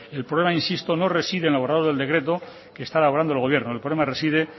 el problema insisto no reside en el borrador del decreto que está elaborando el gobierno el problema reside